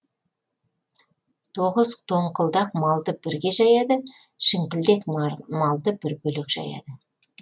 тоғыз тоңқылдак малды бірге жаяды шіңкілдек малды бір бөлек жаяды